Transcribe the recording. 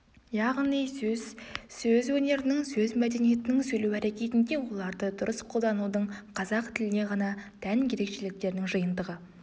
яғни сөз сөз өнерінің сөз мәдениетінің сөйлеу әрекетінде оларды дұрыс қолданудың қазақ тіліне ғана тән ерекшеліктерінің жиынтығы